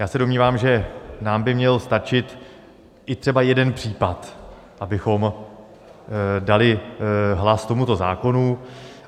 Já se domnívám, že nám by měl stačit i třeba jeden případ, abychom dali hlas tomuto zákonu.